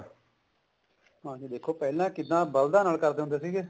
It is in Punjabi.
ਹਾਂਜੀ ਦੇਖੋ ਪਹਿਲਾਂ ਕਿੱਦਾਂ ਬਲਦਾਂ ਨਾਲ ਕਰਦੇ ਹੁੰਦੇ ਸੀਗੇ